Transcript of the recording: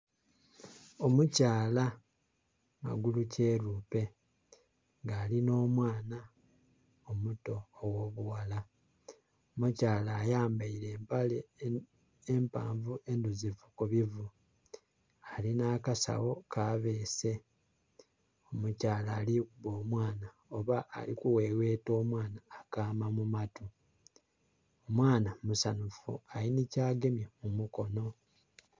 Omukyala magulukyerupe, nga ali nh'omwana omuto ogh'obughala. Omukyala ayambaile empale empanvu endhuzifu ku bivu. Alina akasawo kabeese. Omukyala ali kuba omwana oba ali kuweweta omwana akaama mu matu. Omwana musanhufu ali nhi kyagemye ku mukono.